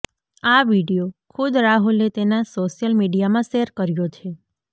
આ વિડીયો ખુદ રાહુલે તેના સોશિયલ મીડિયામાં શેર કર્યો છે